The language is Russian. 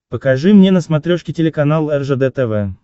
покажи мне на смотрешке телеканал ржд тв